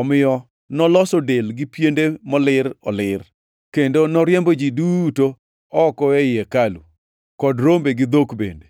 Omiyo noloso del gi piende molir olir, kendo noriembo ji duto oko ei hekalu, kod rombe gi dhok bende.